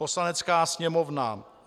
Poslanecká sněmovna: